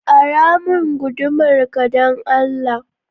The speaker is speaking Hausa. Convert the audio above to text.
Ara min gudumar ka dan Allah